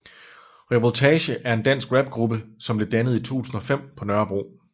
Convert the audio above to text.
Revoltage er en dansk rapgruppe som blev dannet i 2005 på Nørrebro